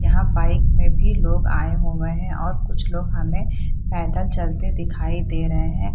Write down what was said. यहाँ बाइक में भी लोग आए हुए हैं कुछ लोग हमें पैदल चलते हुए दिखाई दे रहे हैं।